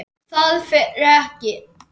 ÞAÐ FER EKKI